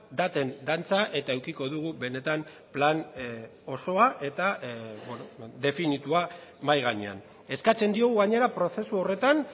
daten dantza eta edukiko dugu benetan plan osoa eta definitua mahai gainean eskatzen diogu gainera prozesu horretan